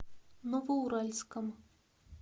новоуральском